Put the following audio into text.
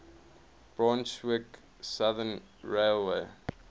brunswick southern railway